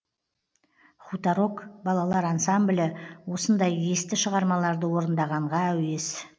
хуторок балалар ансамблі осындай есті шығармаларды орындағанға әуес